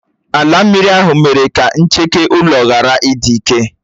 Álà mmiri ahụ mere ka ncheke ulo ghárà ịdị ike.